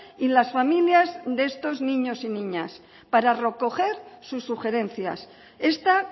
y las familias de estos niños y para niñas para recoger sus sugerencias esta